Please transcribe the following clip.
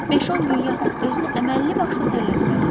Beş-10 gün yatıb özünü əməlli başlı tərlətməlisən.